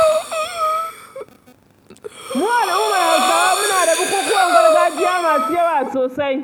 Mu al'ummar Hausawa muna da bukukuwan gargajiya masu yawa sosai.